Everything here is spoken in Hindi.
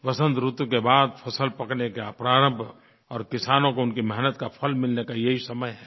वसन्त ऋतु के बाद फ़सल पकने के प्रारंभ और किसानों को उनकी मेहनत का फल मिलने का ये ही समय है